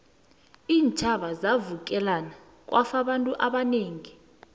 iintjhaba zavukelana kwafa abantu abanengi